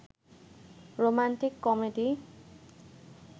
romantic comedy